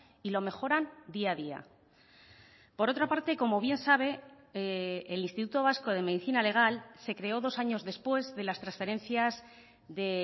y lo mejoran día a día por otra parte como bien sabe el instituto vasco de medicina legal se creó dos años después de las transferencias de